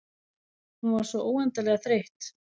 Hún var svo óendanlega þreytt.